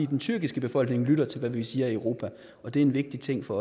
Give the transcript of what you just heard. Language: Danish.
den tyrkiske befolkning lytter til hvad vi siger i europa og det er en vigtig ting for